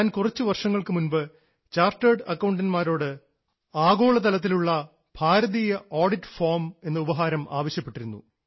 ഞാൻ കുറച്ചു വർഷങ്ങൾക്കു മുൻപ് ചാർട്ടേഡ് അക്കൌണ്ടൻറ്മാരോട് ആഗോളതലത്തിലുള്ള ഭാരതീയ ഓഡിറ്റ് ഫാർമ്സ് എന്ന ഉപഹാരം ആവശ്യപ്പെട്ടിരുന്നു